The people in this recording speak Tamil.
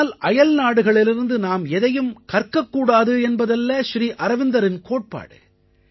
இதனால் அயல்நாடுகளிடமிருந்து நாம் எதையும் கற்க கூடாது என்பதல்ல ஸ்ரீ அரவிந்தரின் கோட்பாடு